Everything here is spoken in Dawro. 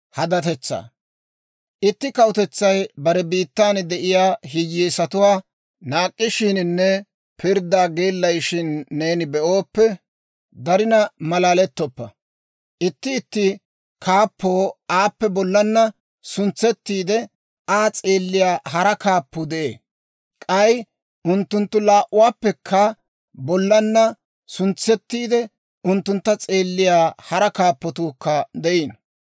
Itti kawutetsay bare biittan de'iyaa hiyyeesatuwaa naak'k'ishiininne pirddaa geellayishin neeni be'ooppe, darina malalettoppa. Itti itti kaappoo aappe bollaanna suntsettiide, Aa s'eelliyaa hara kaappuu de'ee. K'ay unttunttu laa"uwaappekka bollaanna suntsettiide, unttuntta s'eelliyaa hara kaappatuukka de'iino.